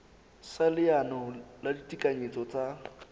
sa leano la ditekanyetso tsa